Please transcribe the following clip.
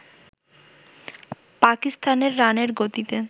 পাকিস্তানের রানের গতিতে